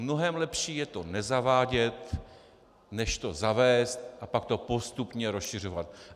Mnohem lepší je to nezavádět než to zavést a pak to postupně rozšiřovat.